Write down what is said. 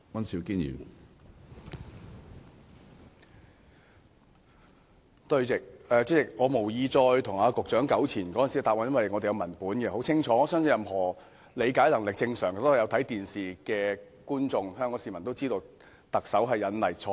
主席，我無意再與局長糾纏當時的答案，因為我們有文本在手，文本很清楚，我相信任何理解能力正常、有收看電視的香港市民也知道，特首錯誤引例。